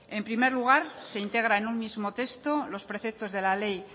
en primer lugar se integra en un mismo texto los preceptos de la ley